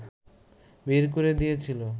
বের করে দিয়েছিলো